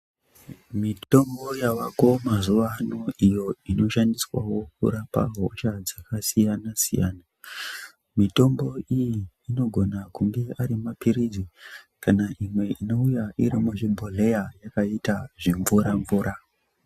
Mitombo yavako mazuwa ano iyo inoshandiswawo kurapa hosha dzakasiyana siyana mitombo iyi inogana kunge ari mapiri kana kunge arimapirizi kana imwe inouya iri muzvibhodhleya yakaita zvimvura mvura.